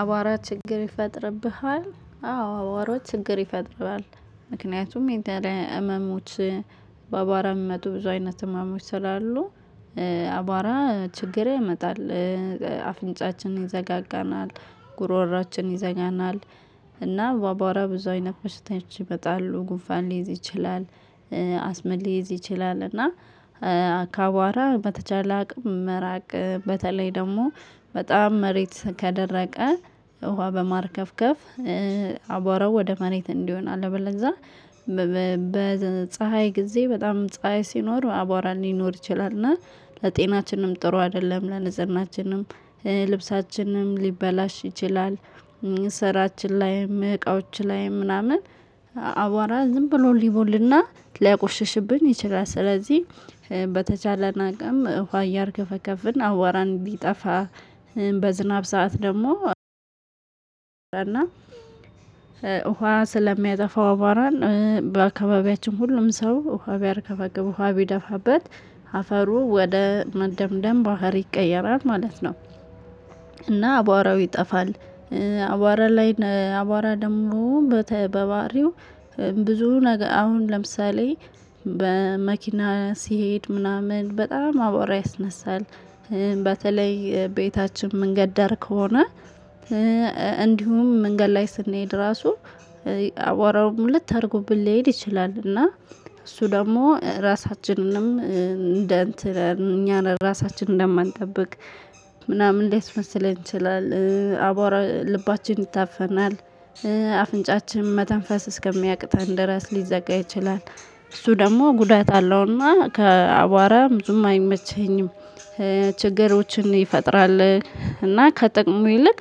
አቧራ ችግር ይፈጥርብሃል አዎ አቧራ ችግር ይፈጥርባል ምክንያቱም የተለየ ህመሞች በአቧራ የሚመጡ ብዙ አይነት ህመሞች ስላሉ። አቧራ ችግር ይመጣል። አፍንጫችን ይዘጋጋናል ጉሮሮአችን ይዘኛናል። እና ባባራ ብዙ ፈሽታዎች ይመጣሉ ጉፋን ሊይዝ ይችላል። አስመል ሊይዝ ይችላል። እና አካባባራ በተቻለ አቅም መራቅ በተለይ ደግሞ በጣም መሬት ከደረቀ ውሃ በማርከፍከፍ። አቧራው ወደ ማሬት እንዲሆን አለበለ እዛ። በፀሀይ ጊዜ በጣም ፀሀይ ሲኖር አቧራ ሊኖር ይችላል እና ለጤናችንም ጥሩ አይደለም። ለነዘናችንም ልብሳችንም ሊበላሽ ይችላል። ስራችን ላይም እቃዎች ላይም ምናምን አዋራ ዝም ብሎ ሊቦልና ሊያቆሽሽብን ይችላል። ስለዚህ በተቻለና አቅም እንኳን ያርከፈከፍን አዋራን ሊጠፋ። በዝናብ ሰዓት ደግሞ እና ውሃ ስለሚያጠፋ አባሏን በአካባቢያችን ሁሉም ሰው ውሃ ቢያርከፈግፉ ውሃ ቢደፋበት አፈሩ ወደ መደምደም ባህሪ ይቀየራል ማለት ነው። እና አቧራው ይጠፋል። አቧራ ላይ አቧራ ደግሞ በተበባሪው ብዙ ነገር አሁን ለምሳሌ በመኪና ሲሄድ ምናምን በጣም አብዋራ ይስነሳል። በተለይ ቤታችን መንገድ ዳር ከሆነ። እንዲሁም መንገድ ላይ ስንሄድ ራሱ አዋራውን ልትታርጉብን ልትሄድ ይችላል። እና እሱ ደግሞ ራሳችንንም እንደ እኛ ራሳችንን እንደማንጠብቅ ምናምን ሊመስለን ይችላል። አቧራ ልባችን ይታፈናል። አፍንጫችን መተንፈስ እስከሚያቅት እንደራስ ሊዘጋ ይችላል። እሱ ደግሞ ጉዳት አለውና ከአቧራ ብዙም አይመችኝም። ችግሮችን ይፈጥራል እና ከጥቅሙ ይልቅ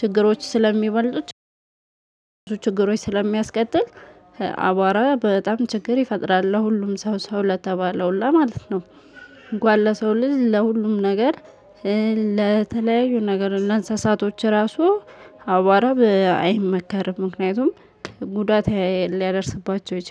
ችግሮች ስለሚበልጡት። ችግሮች ስለሚያስቀጥል አቧራ በጣም ችግር ይፈጥራል ለሁሉም ሰው ሰው ለተባለው ሁላ ማለት ነው። ጓለ ሰው ልጅ ለሁሉም ነገር ለተለያዩ ነገር እንደ እንስሳቶች ራሱ አዋራ አይመከርም። ምክንያቱም ጉዳት ሊያደርስባቸው ይችላል